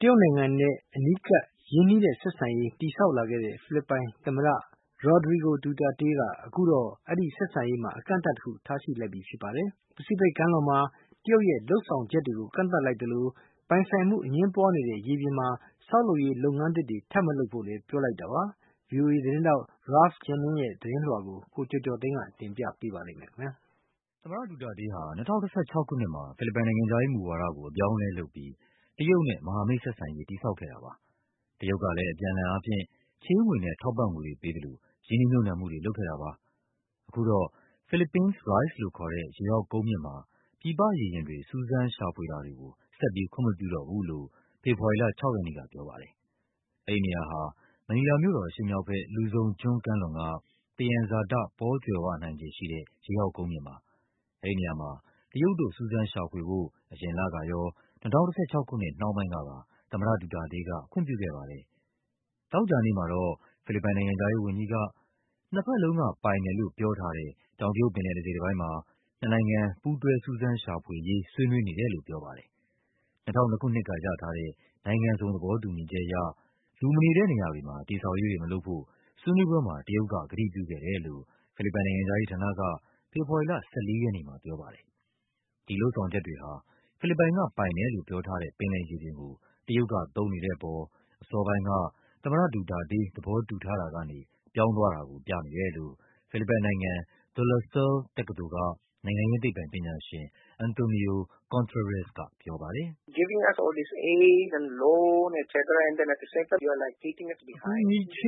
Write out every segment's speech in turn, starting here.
တရုတ်နိုင်ငံနဲ့ အနီးကပ် ရင်းနှီးတဲ့ဆက်ဆံရေး တည်ဆောက်လာတဲ့ ဖိလစ်ပိုင်သမ္မတ Rodrigo Duterte က အခုတော့ အဲဒီဆက်ဆံရေးမှာ အကန့်အသတ်တခု ထားလိုက်ပါပြီ။ ပစိဖိတ်ကမ်းလွန်မှာ တရုတ်ရဲ့ လုပ်ဆောင်ချက်တွေကို ကန့်သတ် လိုက်သလို ပိုင်ဆိုင်မှုအငြင်းပွားနေတဲ့ ရေပြင်မှာ ဆောက်လုပ်ရေး လုပ်ငန်းအသစ်တွေ ထပ်မလုပ်ဖို့လည်း ပြောလိုက် တာပါ။ ဗွီအိုအေသတင်းထောက် Ralph Jennings ရဲ့သတင်းလွှာကို ကိုကျော်ကျော်သိန်းက ပြောပြပါမယ်။ သမ္မတ ဒူတာတေးဟာ ၂၀၁၆ ခုနှစ်မှာ ဖိလစ်ပိုင်နိုင်ငံခြားရေးမူဝါဒကို အပြောင်းအလဲ လုပ်ပြီး တရုတ်နဲ့ မဟာမိတ်ဆက်ဆံ ရေး တည်ဆောက်ခဲ့တာပါ။ တရုတ်ကလည်း အပြန်အလှန်အားဖြင့် ချေးငွေနဲ့ ထောက်ပံ့ငွေတွေပေးသလို ရင်းနှီးမြှုပ်နှံမှုတွေ လုပ် ခဲ့တာပါ။ အခုတော့ Philippines Rise လို့ခေါ်တဲ့ ရေအောင်ကုန်းမြင့်မှာ ပြည်ပရေယာဉ်တွေ စူးစမ်းရှာဖွေတွေကို ဆက်ပြီး ခွင့်မပြု တော့ဘူးလို့ ဖေဖော်ဝါရီလ ၆ ရက်နေ့က ပြောပါတယ်။ အဲဒီနေရာဟာ မနီလာမြို့တော်အရှေ့မြောက်ဘက် Luzon ကျွန်း ကမ်းလွန်က သယံဇာတပေါကြွယ်ဝနိုင်ခြေရှိတဲ့ ရေအောက်ကုန်းမြင့်ပါ။ အဲဒီနေရာမှာ တရုတ်တို့ စူးစမ်းရှာဖွေဖို့ အရင်လကရော၊ ၂၀၁၆ ခုနှစ်နှောင်းပိုင်းကပါ သမ္မတ ဒူတာတေးက ခွင့်ပြုခဲ့ပါတယ်။ သောကြာနေ့မှာတော့ ဖိလစ်ပိုင်နိုင်ငံခြားရေးဝန်ကြီးက နှစ်ဘက်လုံးကပိုင်တယ်လို့ပြောထားတဲ့ တောင်တရုတ်ပင်လယ် တစိတ် တပိုင်းမှာ နှစ်နိုင်ငံ ပူးတွဲ စူးစမ်းရှာဖွေရေး ဆွေးနွေးနေတယ်လို့ ပြောပါတယ်။ ၂၀၀၂ ခုနှစ်ကရထားတဲ့ နိုင်ငံစုံ သဘောတူညီချက် အရ လူမနေတဲ့နေရာတွေမှာ တည်ဆောက်ရေးတွေမလုပ်ဖို့ ဆွေးနွေးပွဲမှာ တရုတ်က ကတိပြုခဲ့တယ်လို့ ဖိလစ်ပိုင်နိုင်ငံခြားရေး ဌာနက ဖေဖော်ဝါရီလ ၁၄ ရက်နေ့မှာပြောပါတယ်။ ဒီလုပ်ဆောင်ချက်တွေဟာ ဖိလစ်ပိုင်ကပိုင်တယ်လို့ ပြောထားတဲ့ ပင်လယ်ရေပြင်ကို တရုတ်ကသုံးနေတဲ့အပေါ် အစောပိုင်းက သမ္မတ ဒူတာတေး သဘောတူထားတာကနေ ပြောင်းသွားတာကိုပြနေတယ်လို့ ဖိလစ်ပိုင်နိုင်ငံ၊ De La Salle တက္ကသိုလ်က နိုင်ငံ ရေးသိပ္ပံပညာရှင် Antonio Contreras ကပြောပါတယ်။ “အကူအညီ၊ ချေး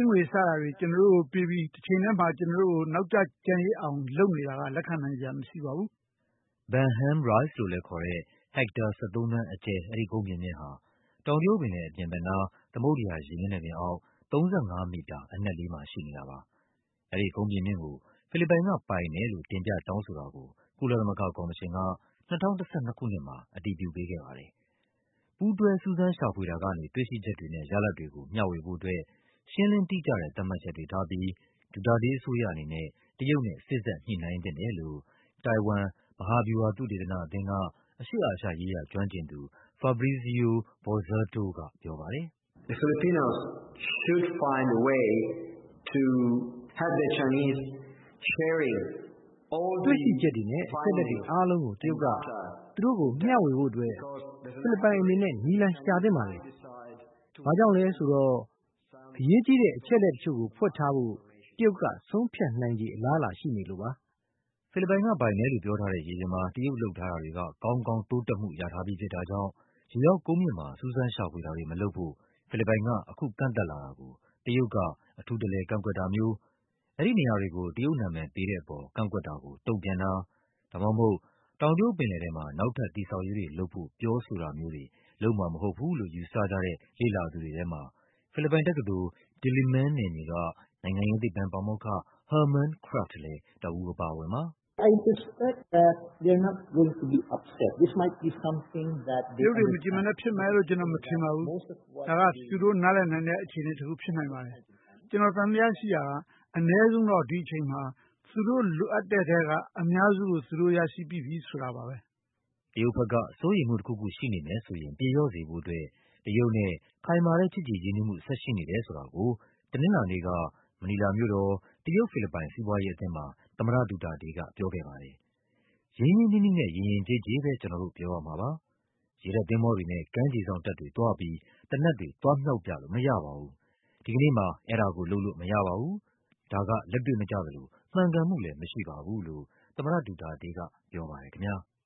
ငွေ စတာတွေ ကျနော်တို့ကိုပေးပြီး တချိန်ထဲမှာ ကျနော်တို့ကို နောက်ကျကျန်ရစ်အောင် လုပ် နေတာက လက်ခံနိုင်စရာမရှိပါဘူး။” Benham Rise လို့လည်းခေါ်တဲ့ ဟက်တာ ၁၃ သန်းအကျယ် အဲဒီကုန်းပြင်မြင့်ဟာ တောင်တရုတ်ပင်လယ် အပြင်ဘက်နား သမုဒ္ဒရာမျက်နှာပြင်အောက် ၃၅ မီတာ အနက်လေးမှာရှိနေတာပါ။ အဲဒီကုန်းပြင်မြင့်ကို ဖိလစ်ပိုင်က ပိုင်ဆိုင်တယ်လို့ တင်ပြ တောင်းဆိုတာကို ကုလသမဂ္ဂကော်မရှင်က ၂၀၁၂ ခုနှစ်မှာ အတည်ပြုပေးခဲ့ပါတယ်။ ပူးတွဲ စူးစမ်းရှာဖွေတာကနေ တွေ့ရှိချက်တွေနဲ့ ရလဒ်တွေကို မျှဝေဖို့အတွက် ရှင်းလင်းတိကျတဲ့ သတ်မှတ်ချက်တွေထားပြီး ဒူတာ တေးအစိုးရအနေနဲ့ တရုတ်နဲ့ စေ့စပ်ညှိနှိုင်းသင့်တယ်လို့ တိုင်ဝမ် မဟာဗျူဟာ သုတေသနအသင်းက အရှေ့အာရှရေးရာ ကျွမ်းကျင်သူ Fabrizio Bozzato ကပြောပါတယ်။ “တွေ့ရှိချက်တွေနဲ့ အချက်အလက်တွေအားလုံးကို တရုတ်က သူတို့ကိုမျှဝေဖို့အတွက် ဖိလစ်ပိုင်အနေနဲ့ နည်းလမ်း ရှာသင့်ပါတယ်။ ဘာကြောင့်လည်းဆိုတော့ အရေးကြီးတဲ့ အချက်အလက်တချို့ကို ဖွက်ထားဖို့ တရုတ်က ဆုံးဖြတ်နိုင်ခြေ အလားအလာ ရှိနေလို့ပါ။” ဖိလစ်ပိုင်က ပိုင်တယ်လို့ပြောထားတဲ့ ရေပြင်မှာ တရုတ် လုပ်ထားတာတွေက ကောင်းကောင်း တိုးတက်မှုရထားပြီးဖြစ်တာ ကြောင့် ရေအောက် ကုန်းပြင်မြင့်မှာ စူးစမ်းရှာဖွေတာတွေမလုပ်ဖို့ ဖိလစ်ပိုင်က အခု ကန့်သတ်လာတာကို တရုတ်က အထူး တလည် ကန့်ကွက်တာမျိုး၊ အဲဒီနေရာတွေကို တရုတ်နာမည်ပေးတဲ့အပေါ် ကန့်ကွက်တာကို တုန့်ပြန်တာ ဒါမှမဟုတ် တောင် တရုတ်ပင်လယ်ထဲမှာ နောက်ထပ် တည်ဆောက်ရေးတွေလုပ်ဖို့ ပြောဆိုတာမျိုးတွေ လုပ်မှာမဟုတ်ဘူးလို့ ယူဆကြတဲ့ လေ့လာ သူတွေထဲမှာ ဖိလစ်ပိုင်တက္ကသိုလ်၊ Diliman နယ်မြေက နိုင်ငံရေးသိပ္ပံပါမောက္ခ Herman Kraft လည်း တဦးအပါအဝင်ပါ။ “တရုတ်တွေ မကျေမနပ်ဖြစ်မယ်လို့ ကျနော်မထင်ပါဘူး။ ဒါက သူတို့ နားလည်နိုင်တဲ့ အခြေအနေတခုဖြစ်နိုင်ပါတယ်။ ကျနော် သံသယရှိတာက အနည်းဆုံးတော့ ဒီအချိန်မှာ သူတို့လိုအပ်တဲ့ထဲက အများစုကို သူတို့ရထားပြီးပြီ ဆိုတာပါပဲ။” တရုတ်ဘက်က စိုးရိမ်မှုတခုခုရှိနေမယ်ဆိုရင် ပြေလျော့စေဖို့အတွက် တရုတ်နဲ့ ခိုင်မာတဲ့ချစ်ကြည်ရင်းနှီးမှု ဆက်ရှိနေတယ်ဆိုတာ ကို တနင်္လာနေ့က မနီလာမြို့တော် တရုတ်-ဖိလစ်ပိုင် စီးပွားရေးအသင်းမှာ သမ္မတ ဒူတာတေးက ပြောခဲ့ပါတယ်။ ရင်းရင်းနှီးနှီးနဲ့ ယဉ်ယဉ်ကျေးကျေးပဲ ကျနော်တို့ ပြောရမှာပါ၊ ရေတပ်သင်္ဘောတွေနဲ့ ကမ်းခြေစောင့်တပ်တွေသွားပြီး သေနတ်တွေ သွားမြှောက်ပြလို့မရပါဘူး၊ ဒီကနေ့မှာ အဲဒါကို လုပ်လို့မရပါဘူး၊ ဒါက လက်တွေ့မကျသလို မှန်ကန်မှုလည်း မရှိပါဘူးလို့ သမ္မတ ဒူတာတေးက ပြောပါတယ်ခင်ဗျား။